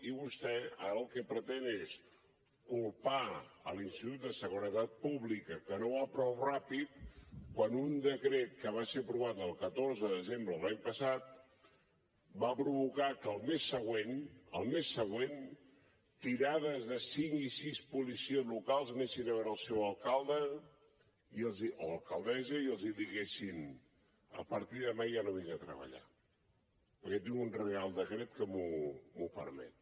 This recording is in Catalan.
i vostè ara el que pretén és culpar l’institut de seguretat pública que no va prou ràpid quan un decret que va ser aprovat el catorze de desembre de l’any passat va provocar que al mes següent al mes següent tirades de cinc i sis policies locals anessin a veure el seu alcalde o alcaldessa i els diguessin a partir de demà ja no vinc a treballar perquè tinc un reial decret que m’ho permet